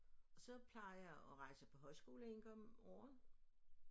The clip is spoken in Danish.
Og så plejer jeg at rejse på højskole en gang om året